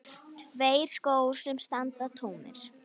Tveir skór sem standa tómir.